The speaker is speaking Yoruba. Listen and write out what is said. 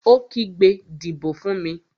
Ó kígbe, "Dìbò fún mi!"